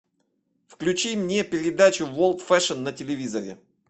включи мне передачу ворлд фешн на телевизоре